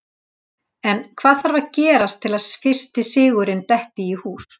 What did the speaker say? En hvað þarf að gerast til að fyrsti sigurinn detti í hús?